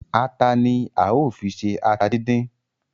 Ata ni a ó fi ṣe ata díndín